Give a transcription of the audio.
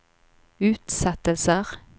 utsettelser